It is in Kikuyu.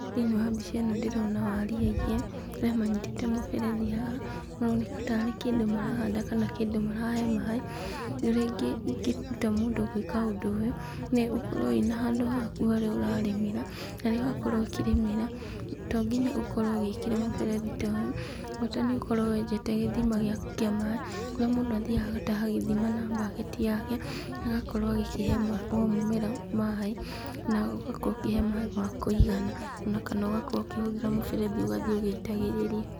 Thĩiniĩ wa mbica ĩno ndĩrona waria igĩrĩ, arĩa manyitĩte mũberethi haha , maroneka tarĩ kĩndũ marahanda kana kĩndũ marahe maaĩ, ũrĩa ingĩruta mũndũ gwĩka ũndũ ũyũ, nĩgũkorwo wĩna handũ haku harĩa ũrarĩmĩra, na rĩrĩa wakorwo ũkĩrĩmĩra to nginya ũkorwo ũgĩkĩra mũberethi ta ũyũ, bata nĩ ũkorwo wenjete gĩthima gĩaku kĩa maaĩ, kũrĩa mũndũ athiaga agagĩtaha gĩthima na baketi yake, agakorwo agĩkĩhe o mũmera maaĩ na ũgakorwo ũgĩkĩhe maaĩ ma kũigana, ona kana ũgakorwo ũkĩhũthĩra mũberethi ũgathiĩ ũgĩitagĩrĩria.